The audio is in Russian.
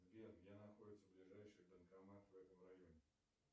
сбер где находится ближайший банкомат в этом районе